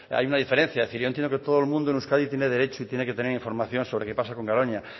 hay una diferencia es decir yo entiendo que todo el mundo en euskadi tiene derecho y tiene que tener información sobre qué pasa con garoña